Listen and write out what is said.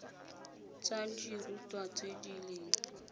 tsa dirutwa tse di leng